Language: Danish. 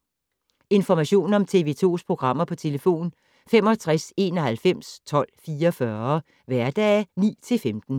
Information om TV 2's programmer: 65 91 12 44, hverdage 9-15.